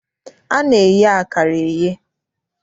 A na-eye akara eye.